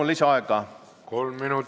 Sellise vaatenurga alt ma seda küll ei näinud.